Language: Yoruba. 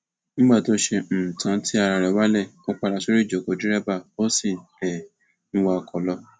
nígbà tó ṣe um tán tí ara ẹ wálẹ ó padà sorí ìjókòó dẹrẹbà ó sì um ń wa ọkọ lọ